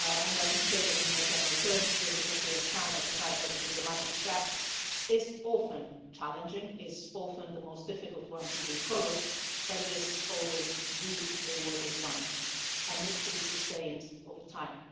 Let me say that, in more general terms, this is a clear sign of the fact that the diplomatic track is often challenging, is often the most difficult one to be followed, but it is always the rewarding one and needs to be sustained over time.